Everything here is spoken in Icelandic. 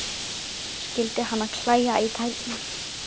Skyldi hana klæja í tærnar?